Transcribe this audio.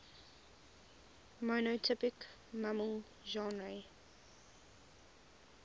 monotypic mammal genera